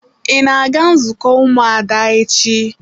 Ị na-aga nzukọ ụmụada echi?